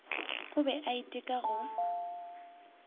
o be a iteka go